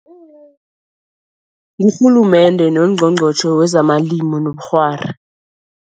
Ngurhulumende nongqongqotjhe wezamalimo nobukghwari.